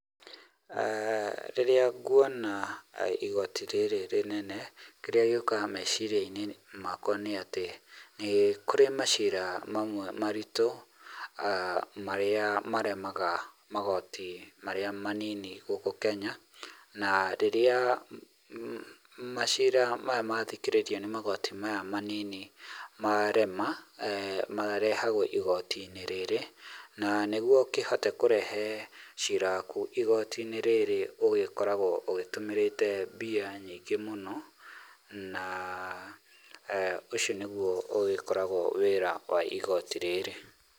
Rĩrĩa nguona igoti rĩrĩ rĩnene, kĩrĩa gĩũkaga meciria-inĩ makwa nĩ atĩ, nĩkũrĩ macira mamwe maritũ, marĩa maremaga magoti marĩa manini gũkũ Kenya, na rĩrĩa macira maya mathikĩrĩrio nĩ magoti maya manini marema, marehagwo igoti-inĩ rĩrĩ. na nĩguo ũkĩhote kũrehe cira waku igoti-inĩ rĩrĩ ũgĩkoragwo ũtũmĩrĩte mbia nyingĩ mũno, na ũcio nĩguo ũgĩkoragwo wĩra wa igoti rĩrĩ.